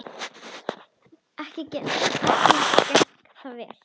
Ekki gekk það vel.